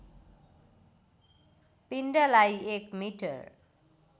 पिण्डलाई एक मिटर